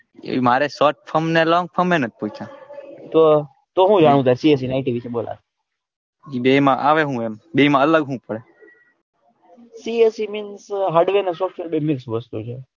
મારે નથ પૂછ્યું તો તો હું જાણવું IT વિશે બે માં આવે હું બે માં અલગ પડે CSE means hardware and software બે મિક્સ વસ્તુ છે.